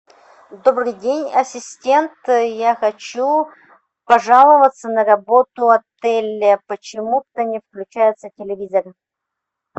добрый день ассистент я хочу пожаловаться на работу отеля почему то не включается телевизор